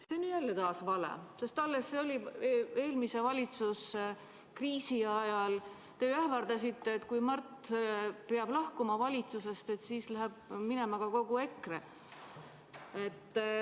See on ju jälle vale, sest alles see oli, eelmise valitsuskriisi ajal, kui te ähvardasite, et kui Mart peab lahkuma valitsusest, siis läheb minema ka kogu EKRE.